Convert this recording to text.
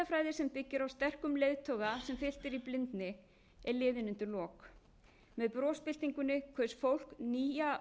sem byggir á sterkum leiðtoga sem fylgt er í blindni er liðin undir lok með brosbyltingunni kaus fólk nýja